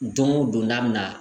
Don o don n'a bɛ na